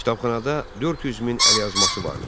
Kitabxanada 400 min əlyazması vardı.